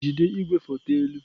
Jido igwefoto elu!